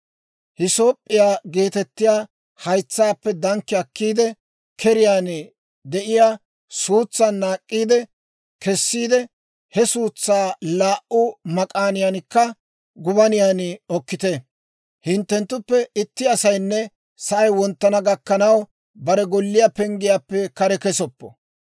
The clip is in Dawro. Hisoop'p'iyaa geetettiyaa haytsaappe dankki akkiide, keriyaan de'iyaa suutsan naak'k'i kessiide, he suutsaa laa"u mak'aaniyaaninne gubaniyaa okkite; hinttenttuppe itti asaynne sa'ay wonttana gakkanaw bare golliyaa penggiyaappe kare kesoppo.